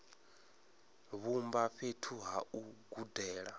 vhumba fhethu ha u gudela